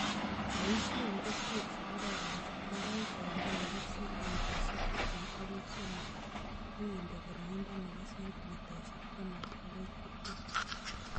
Boisie keswek che kororon che tindoi koindo nebo sentimitaishek tiptem agoi sosom ak inde boroindo nebo sentimitaishek taman agoi tiptem